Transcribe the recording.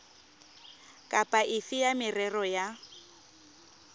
kapa efe ya merero ya